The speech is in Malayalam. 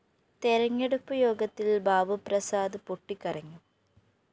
തെരഞ്ഞെടുപ്പ്‌ യോഗത്തില്‍ ബാബുപ്രസാദ്‌ പൊട്ടിക്കരഞ്ഞു